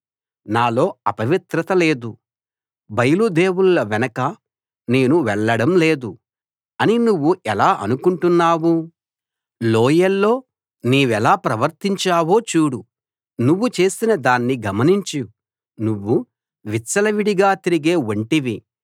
నాలో అపవిత్రత లేదు బయలు దేవుళ్ళ వెనక నేను వెళ్ళడం లేదు అని నువ్వు ఎలా అనుకుంటున్నావు లోయల్లో నీవెలా ప్రవర్తించావో చూడు నువ్వు చేసిన దాన్ని గమనించు నువ్వు విచ్చలవిడిగా తిరిగే ఒంటెవి